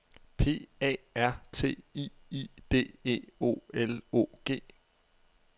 P A R T I I D E O L O G